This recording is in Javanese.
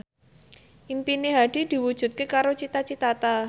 impine Hadi diwujudke karo Cita Citata